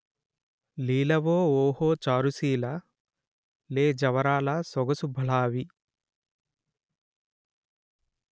లీలఓ ఓహొ చారుశీల లేజవరాలా సొగసు భళా వి